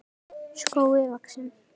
skógi vaxinn.